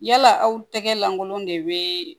Yala aw tɛgɛ lankolon de bɛ